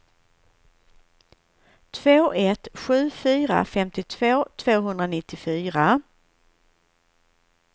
två ett sju fyra femtiotvå tvåhundranittiofyra